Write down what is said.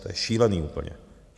To je šílený úplně.